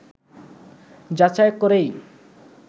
যাচাই করেই